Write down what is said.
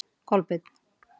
Kolbeinn